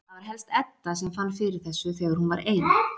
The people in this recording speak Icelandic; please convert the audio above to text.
Það var helst Edda sem fann fyrir þessu þegar hún var ein.